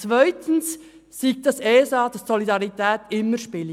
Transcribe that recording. Zweites soll die Solidarität immer eine Rolle spielen.